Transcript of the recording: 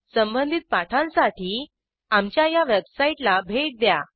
संबंधित पाठांसाठी आमच्या httpspoken tutorialorg या वेबसाईटला भेट द्या